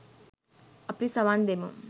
අපි සවන් දෙමු